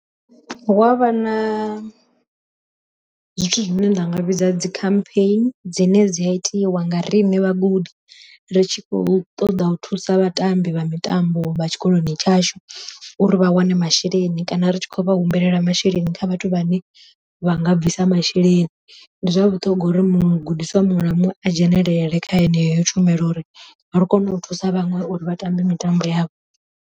Hu avha na zwithu zwine nda nga vhidza dzi complain, dzine dzi a itiwa nga riṋe vhagudi ri tshi khou ṱoḓa u thusa vhatambi vha mitambo vha tshikoloni tshashu, uri vha wane masheleni kana ri tshi khou vha humbulela masheleni kha vhathu vhane vha nga bvisa masheleni. Ndi zwa vhuṱhongwa uri mugudiswa muṅwe na muṅwe a dzhenelele kha heneyo tshumelo uri ri kone u thusa vhaṅwe uri vha tambe mitambo yavho.